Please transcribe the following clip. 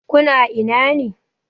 Ku na ina ne?